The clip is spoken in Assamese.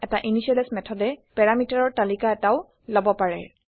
এটা initializeইনিচিয়েলাইজ মেথডে পেৰামিটাৰৰ তালিকা এটাও লব পাৰে